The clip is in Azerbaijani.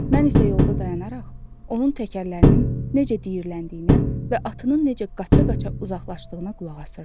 Mən isə yolda dayanaraq, onun təkərlərinin necə diyirləndiyinə və atının necə qaça-qaça uzaqlaşdığına qulaqasırdım.